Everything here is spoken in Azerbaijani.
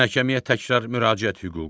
Məhkəməyə təkrar müraciət hüququ.